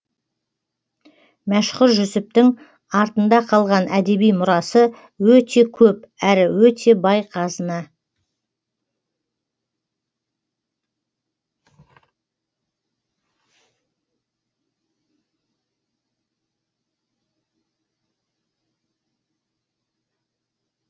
мәшһүр жүсіптің артында қалған әдеби мұрасы өте көп әрі өте бай қазына